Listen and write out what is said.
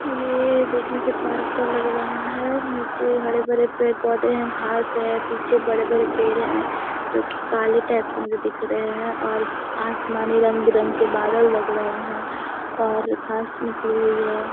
ये देखने से पार्क का लग रहा है नीचे हरे-भरे पेड़-पौधे हैं घास हैं पीछे बड़े-बड़े पेड़ हैं जो कि काले टाइप से मुझे दिख रहे हैं और आसमानी रंग-बिरंग के बादल लग रहे है और घास निकली हुई है।